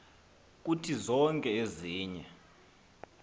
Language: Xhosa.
kuthi zonke ezinye